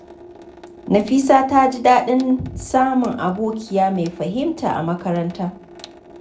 Nafisa ta ji daɗin samun abokiya mai fahimta a makaranta.